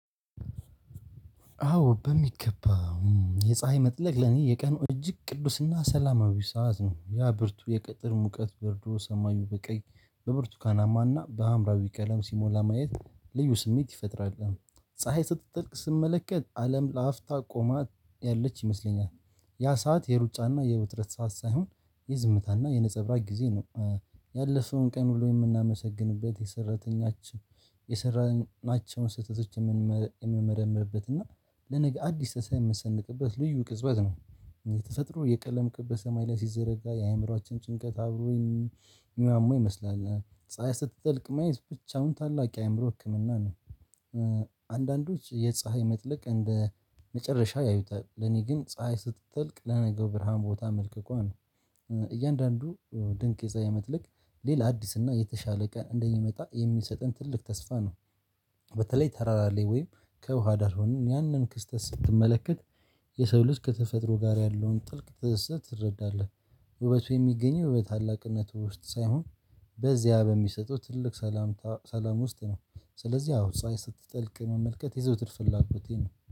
አዎ በሚገባ። የፀሀይ መጥለቅ ለኔ የቀን እጅግ ቅዱስና ሰላማዊ ሰዓት ነው ያ ብርቱ የቅጥር ሙቀት በርዶ ሰማዩ በቀይ በብርቱካናማና በአምራዊ ቀለም ሲሞላ ማየት ልዩ ስሜት ይፈጥራል። ፀሀይ ስትጠልቅ ስመለከት አለም ለአፍታ ቆማ ያለች ይመስለኛል። ያ ሰዓት የሩጫና የውጥረት ሰዓት ሳይሆን የዝምታና የነፀብራቅ ጊዜ ነው። ያለፈውን ቀን ሁሉ የምናመሰግንበት የሰራተኛችን የሰራናቸውን ስህተቶች የምመረምርበት እና ለነገ አዲስ ተሰንቀህ የምሰንቅበት ልዩ ቅጽበት ነው። የተፈጥሮ የቀለም ቅጽበት ሰማይ ላይ ሲዘረጋ የአእምሮአችን ጭንቀት አብሮኝ ምናምን ይመስላል። ስትጠልቅ ማየት ብቻውን ታላቅ የአእምሮ ህክምና ነው። አንዳንዶች የፀሀይ መጥለቅ እንደ መጨረሻ ያዩታል ለኔ ግን ፀሀይ ስትጠልቅ ለነገው ብርሃን ቦታ መልከኳን እያንዳንዱ ድንቅ የፀሀይ መትለቅ ሌላ አዲስ እና የተሻለ ቀን እንደሚመጣ የሚሰጠን ትልቅ ተስፋ ነው። በተለይ ተራራ ላይ ሆነን ወይም ከውሃ ዳር ሆኖ ያንን ክስተት ስትመለከት የሰው ልጅ ከተፈጥሮ ጋር ያለውን ጥልቅ ትዝት ትረዳለህ። ውበቱ የሚገኘው በታላቅነት ውስጥ ሳይሆን በዚያ በሚሰጡት ትልቅ ሰላም ሰላም ውስጥ ነው። ስለዚህ አዎ ሰው ስትጥልቅ መመልከት የዘውትር ፍላጎቴ ነው